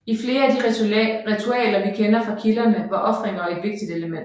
I flere af de ritualer vi kender fra kilderne var ofringer et vigtigt element